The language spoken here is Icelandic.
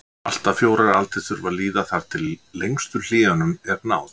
Allt að fjórar aldir þurfa að líða þar til lengstu hléunum er náð.